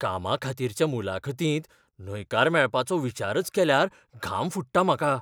कामाखातीरच्या मुलाखतींत न्हयकार मेळपाचो विचारच केल्यार घाम फुट्टा म्हाका.